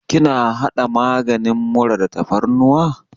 Kina haɗa maganin mura da tafarnuwa?